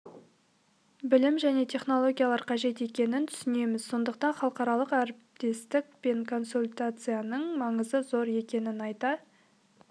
білім және технологиялар қажет екенін түсінеміз сондықтан халықаралық әріптестік пен консультацияның маңызы зор екенін айта